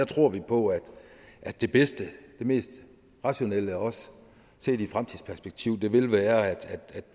tror vi på at at det bedste og mest rationelle også set i et fremtidsperspektiv vil være at